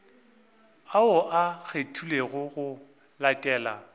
ao a kgethilwego go latela